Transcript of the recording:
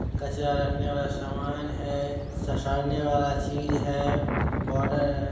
कचरा रखने वाला सामान है ससारने वाला चीज है बोडर --